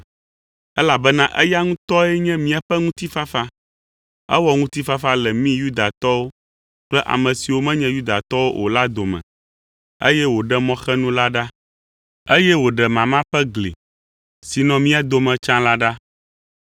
Elabena eya ŋutɔe nye míaƒe ŋutifafa. Ewɔ ŋutifafa le mí Yudatɔwo kple mi ame siwo menye Yudatɔwo o la dome, eye wòɖe mɔxenu la ɖa, eye wòɖe mama ƒe gli si nɔ mía dome tsã la ɖa.